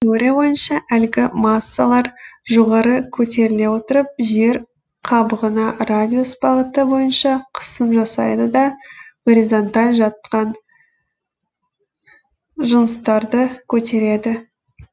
теория бойынша әлгі массалар жоғары көтеріле отырып жер қабығына радиус бағыты бойынша қысым жасайды да горизонталь жаткан жыныстарды көтереді